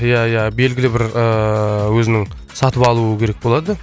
ия ия белгілі бір ыыы өзінің сатып алуы керек болады